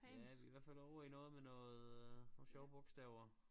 Ja vi i hvert fald ovre i noget med noget nogle sjove bogstaver